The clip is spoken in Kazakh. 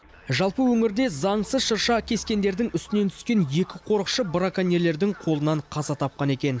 жалпы өңірде заңсыз шырша кескендердің үстінен түскен екі қорықшы браконьерлердің қолынан қаза тапқан екен